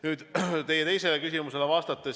Nüüd vastan teie teisele küsimusele.